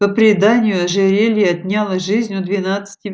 по преданию ожерелье отняло жизнь у девятнадцати